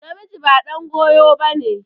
Namiji ba ɗan goyo ba ne.